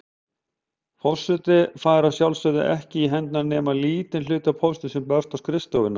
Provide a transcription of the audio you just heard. Forseti fær að sjálfsögðu ekki í hendur nema lítinn hluta póstsins sem berst á skrifstofuna.